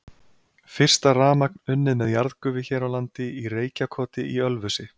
Fyrsta rafmagn unnið með jarðgufu hér á landi í Reykjakoti í Ölfusi.